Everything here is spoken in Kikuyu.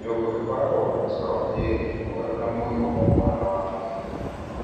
Nyũngũ ikoragwo na mĩcoro ĩĩrĩ mwerũ na mũirũ o mwena wa mwĩĩrĩ